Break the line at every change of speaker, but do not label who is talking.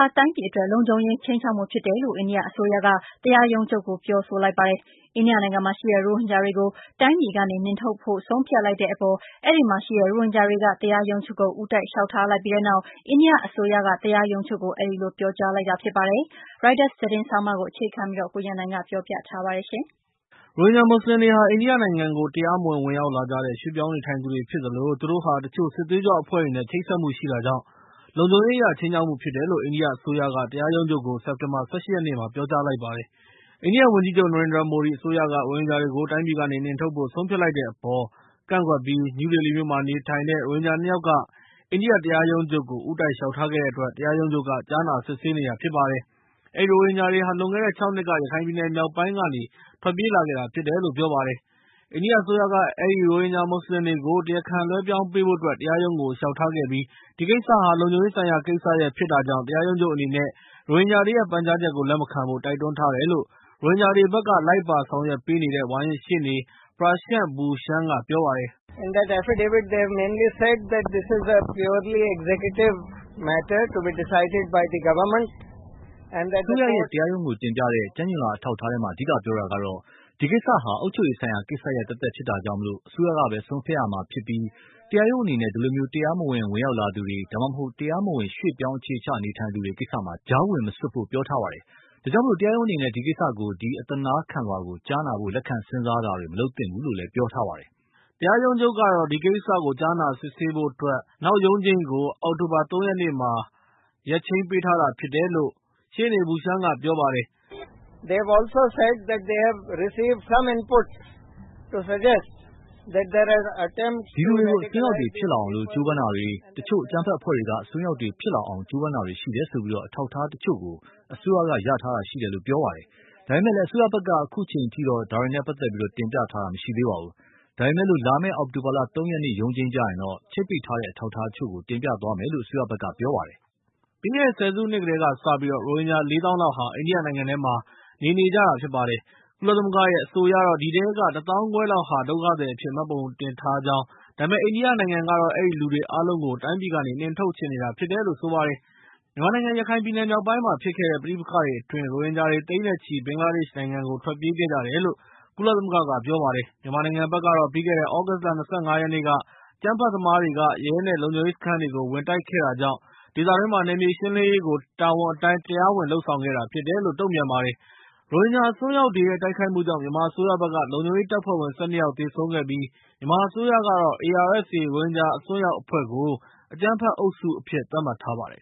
ာ တိုင်းပြည်အတွက် လုံခြုံရေးခြိမ်းခြောက်မှုဖြစ်တယ်လို့ အိန္ဒိယအစိုးရက ၊ တရားရုံးချုပ်ကို ပြောလိုက်ပါတယ်။ အိန္ဒိယနိုင်ငံမှာရှိတဲ့ ရိုဟင်ဂျာတွေကို တိုင်းပြည်ကနေ နှင်ထုတ်ဖို့ ဆုံးဖြတ်လိုက်တဲ့အပေါ်၊ ရိုဟင်ဂျာတွေက တရားရုံးချုပ်ကို ဦးတိုက်လျှောက်ထားလိုက်ပြီးတဲ့နောက် အိန္ဒိယအစိုးရက တရားရုံးချုပ်ကို အဲဒီလို ပြောကြားလိုက်တာဖြစ်ပါတယ်။ ရိုက်တာသတင်းဆောင်းပါးကို အခြေခံပြီး ကိုရန်နိုင်က ပြောပြ
ပေးမှာဖြစ်ပါတယ်။ ရိုဟင်ဂျာမွတ်စလင်တွေဟာ အိန္ဒိယနိုင်ငံကို တရားမဝင်ဝင်ရောက်လာကြတဲ့ ရွှေ့ပြောင်းနေထိုင်သူတွေဖြစ်သလို၊ သူတို့ဟာ တချို့စစ်သွေးကြွအဖွဲ့တွေနဲ့ ချိတ်ဆက်မှုရှိတာကြောင့် လုံခြုံရေးအရခြိမ်းခြောက်မှုရှိတယ်လို့ အိန္ဒိယအစိုးရက တရားရုံးချုပ်ကို စက်တင်ဘာ ၁၈ တနင်္လာနေ့မှာ ပြောကြားလိုက်ပါတယ်။ အိန္ဒိယဝန်ကြီးချုပ် နရင်ဒရာမိုဒီအစိုးရက ရိုဟင်ဂျာတွေကို တိုင်းပြည်ကနှင်ထုတ်ဖို့ဆုံးဖြတ်လိုက်တဲ့အပေါ် နယူးဒေလီမြို့မှာနေထိုင်တဲ့ ရိုဟင်ဂျာ ၂ ယောက်က အိန္ဒိယတရားရုံးချုပ်ကို ဦးတိုက်လျှောက်ထားခဲ့တဲ့အတွက် တရားရုံးချုပ်က ကြားနာစစ်ဆေးနေတာဖြစ်ပါတယ်။ အဲဒီရိုဟင်ဂျာတွေဟာ လွန်ခဲ့တဲ့ ၆ နှစ်က ရခိုင်ပြည်နယ်မြောက်ပိုင်းကနေ ထွက်ပြေးလာခဲ့တာဖြစ်တယ်လို့ ပြောပါတယ်။ အိန္ဒိယအစိုးရက အဲဒီရိုဟင်ဂျာမွတ်စလင်တွေကို တရားခံလွဲပြောင်းပေးဖို့အတွက် တရားရုံးကိုလျှောက်ထားခဲ့ပြီး၊ ဒီကိစ္စဟာ လုံခြုံရေးဆိုင်ရာ ကိစ္စဖြစ်တာကြောင့်၊ တရားရုံးချုပ်အနေနဲ့ ရိုဟင်ဂျာတွေရဲ့ ပန်ကြားချက်ကို လက်မခံဖို့ တိုက်တွန်းထားတယ်လို့ ရိုဟင်ဂျာတွေဘက်က လိုက်ပါဆောင်ရွက်ပေးနေတဲ့ ဝါရင့်ရှေ့နေ Prashant Bhushan က ပြောပါတယ်
။ "အစိုးရဘက်က ကျမ်းကျိန်လွှာထဲမှာ အဓိကပြော
တာကတော့ - ဒီကိစ္စဟာအုပ်ချုပ်ရေးဆိုင်ရာကိစ္စရပ်သက်သက်ဖြစ်တာကြောင့်၊ အစိုးရကပဲ ဆုံးဖြတ်ရမှာဖြစ်ပြီး၊ တရားရုံးအနေနဲ့ ဒီလို တရားမဝင်ဝင်ရောက်လာသူတွေ ဒါမှမဟုတ် တရားမဝင်ရွှေ့ပြောင်းအခြေချနေထိုင်သူတွေ ကိစ္စမှာ ကြားဝင်မစွက်ဖို့ပြောထားပါတယ်။ ဒါကြောင့် တရားရုံးအနေနဲ့ ဒီကိစ္စကို ဒီ အသနားခံလွှာကို ကြား
နာဖု့ိလက်ခံစဉ်းစားတာတွေ မလုပ်သင့်ဘူးလို့ ပြောထားပါတယ်။" တရားရုံးချုပ်ကတော့ ဒီကိစ္စကို အောက်တိုဘာ ၃ ရက်နေ့မှာ ကြားနားဖို့ ရက်ချိန်းပေးထားပါတယ်။ "ဒီလူတွေကို အစွန်းရောက်တွေဖြစ
်လာအောင် က
ြ
ိုးပမ်းတာတွေ၊ တချို့ အကြမ်းဖက်အဖွဲ့တွေက အစွန်းရောက်တွေဖြစ်လာအောင် ကြိုးပမ်းတာတွေရှိတယ်ဆိုပြီး အထောက်အထားတချို့ကို အစိုးရက ရထားတာရှိတယ်လို့ ပြောပါတယ်။ ဒါပေမဲ့ အစိုးရဘက်က အခုချိန်ထိတော့ ဒါတွေနဲ့ ပတ်သက်ပြီး တင်ပြထားတာ မရှိသေးပါဘူး။ ဒါပေမဲ့ လာမယ့် အောက်တိုဘာ ၃ ရက်နေ့ ရုံးချိန်ကျရင် ချိတ်ပိတ်ထားတဲ့ အ
ထောက်အထားတချို့ကို တင်ပြသွားမယ်လို့ အစိုးရဘက်က ပြောပါတယ်။" ပြီးခဲ့တဲ့ဆယ်စုနှစ်ကတည်းက ရိုဟင်ဂျာ ၄ သောင်းလောက် အိန္ဒိယနိုင်ငံထဲမှာ နေနေကြတာဖြစ်ပါတယ်။ ကုလသမဂ္ဂရဲ့ အဆိုအရတော့ အဲဒီထဲက ၁ သောင်းခွဲလောက်ဟာ ဒုက္ခသည်အဖြစ် မှတ်ပုံတင်ထားကြောင်း၊ ဒါပေမဲ့ အိန္ဒိယနိုင်ငံကတော့ အဲဒီလူတွေအားလုံးကို တိုင်းပြည်ကနေ နှင်ထုတ်ချင်နေတာ ဖြစ်ပါတယ်။ မြန်မာနိုင်ငံရခိုင်ပြည်နယ်မြောက်ပိုင်းမှာဖြစ်ခဲ့တဲ့ ပဋိပက္ခတွေအတွင်း ၊ ရိုဟင်ဂျာတွေသိန်းနဲ့ချီ ဘင်္ဂလားဒေ့ရှ်နိုင်ငံကိုထွက်ပြေးခဲ့ကြပါတယ်။ မြန်မာနိုင်ငံဘက်ကတော့ - ပြီးခဲ့တဲ့ သြဂုတ်လ ၂၅ ရက်နေ့က အကြမ်းဖက်သမားတွေက ရဲနဲ့လုံခြုံရေးစခန်းတွေကို တိုက်ခိုက်ခဲ့တာကြောင့်၊ ဒေသတွင်းမှာ နယ်မြေရှင်းလင်းရေး တာဝန်အတိုင်း တရားဝင်လုပ်ဆောင်ခဲ့တာဖြစ်တယ်လို့ ပြောပါတယ်။ ရိုဟင်ဂျာအစွန်းရောက်တွေရဲ့ တိုက်ခိုက်မှုကြောင့် မြန်မာအစိုးရဘက်က လုံခြုံရေးတပ်ဖွဲ့ဝင် ၁၂ ယောက်သေဆုံးခဲ့ပါတယ်။ မြန်မာအစိုးရဘက်ကတော့ ARSA ရိုဟင်ဂျာအစွန်းရောက်အဖွဲ့ကို အကြမ်းဖက်အုပ်စုအဖြစ် သတ်မှတ်ထားပါတယ်